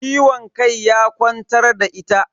Ciwon kai ya kwantar da ita.